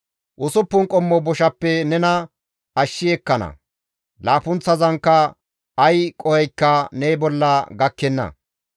Usuppun qommo boshappe nena ashshi ekkana; laappunththazanka ay qohoykka ne bolla gakkenna.